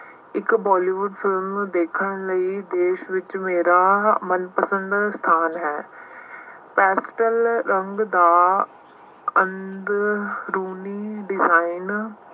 ਇੱਕ Bollywood film ਨੂੰਂ ਦੇਖਣ ਲਈ ਦੇਸ਼ ਵਿੱਚ ਮੇਰਾ ਮਨਪਸੰਦ ਸਥਾਨ ਹੈ। ਦਾ ਅੰਦਰੂਨੀ design